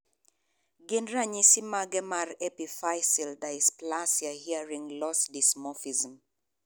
Gin ranyisi mage mar Epiphyseal dysplasia hearing loss dysmorphism?